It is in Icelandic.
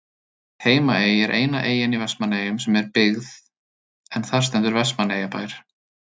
Heimaey er eina eyjan í Vestmannaeyjum sem er byggð en þar stendur Vestmannaeyjabær.